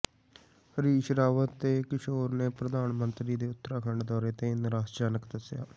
ਹਰੀਸ਼ ਰਾਵਤ ਤੇ ਕਿਸ਼ੋਰ ਨੇ ਪ੍ਰਧਾਨ ਮੰਤਰੀ ਦੇ ਉੱਤਰਾਖੰਡ ਦੌਰੇ ਨੂੰ ਨਿਰਾਸ਼ਾਜਨਕ ਦੱਸਿਆ